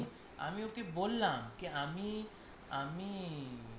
আমি আমি ওকে বললাম আমি আমি